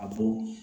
A fɔ